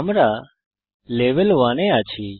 আমরা লেভেল 1 এ আছি